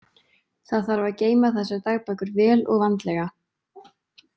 Það þarf að geyma þessar dagbækur vel og vandlega.